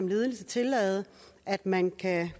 ledelsen tillade at man kan